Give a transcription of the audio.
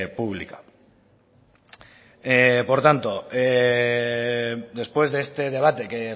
pública por tanto después de este debate que